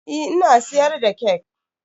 Eh ina siyar da kek.